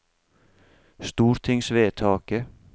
stortingsvedtaket